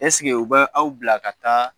Ɛseke u bɛ aw bila ka taa